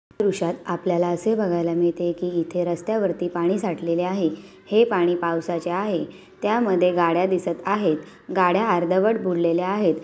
दृश्यात आपल्याला असे बघायला मिळते कि इथे रस्त्यावरती पाणी साठलेले आहे हे पाणी पावसाचे आहे त्यामध्ये गाड्या दिसत आहेत गाड्या अर्धवट बुडलेल्या आहेत.